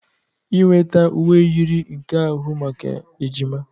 Inweta uwe yiri nke ahụ maka ejima